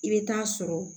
I bɛ taa sɔrɔ